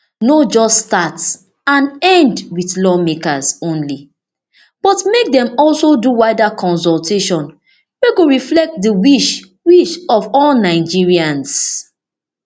no just start and end wit lawmakers only but make dem also do wider consultation wey go reflect di wish wish of all nigerians